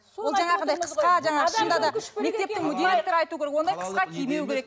ол жаңағындай қысқа жаңағы шынында да мектептің директоры айту керек ондай қысқа кимеу керек